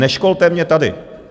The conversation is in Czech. Neškolte mě tady!